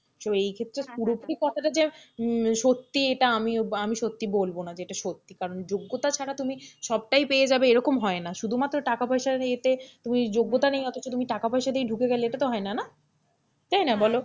তো এই ক্ষেত্রে পুরোপুরি কথাটা যে সত্যি এটা আমি আমি সত্যি বলবো না যেটা সত্যি কারণ যোগ্যতা ছাড়া তুমি সবটাই পেয়ে যাবে এরকম হয়না, শুধুমাত্র টাকা-পয়সার ইয়েতে তুমি যোগ্যতা নেই অতচ তুমি টাকা পয়সা দিয়ে ধুকে গেলে এটা তো হয় না, তাই না বলো,